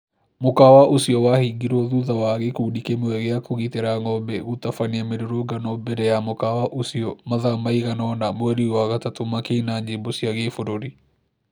Mũkawa ũcio wahingirwo thutha wa gĩkundĩ kĩmwe gĩa kũgitĩra ng'ombe gũtabania mĩrũrũngano mbere ya mũkawa ũcio mathaa maigana ona mweri wa wagatatu makĩĩna nyĩmbo cia gĩbũrũri